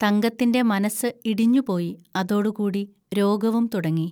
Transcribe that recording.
തങ്കത്തിന്റെ മനസ്സ് ഇടിഞ്ഞുപോയി, അതോടുകൂടി രോഗവും തുടങ്ങി